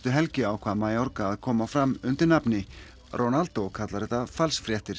helgina ákvað Mayorga að koma fram undir nafni Ronaldo kallar þetta falsfréttir